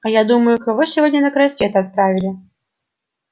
а я думаю кого сегодня на край света отправили